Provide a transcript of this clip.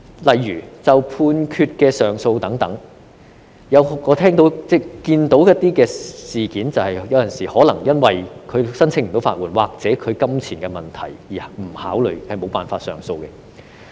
例如，就判決上訴等，我看到在一些案件中，當事人有時候可能因未能申請法律援助或金錢問題而不考慮或無法上訴。